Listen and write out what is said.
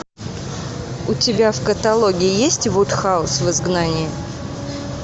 у тебя в каталоге есть вудхаус в изгнании